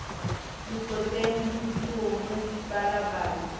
lekoteng ho tu o balabala